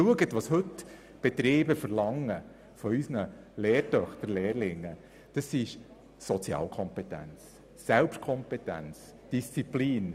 Was die Betriebe von unseren Lernenden verlangen, sind Dinge wie Sozialkompetenz, Selbstkompetenz und Disziplin.